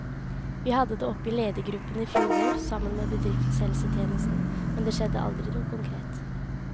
Vi hadde det oppe i ledergruppen i fjor vår, sammen med bedriftshelsetjenesten, men det skjedde aldri noe konkret.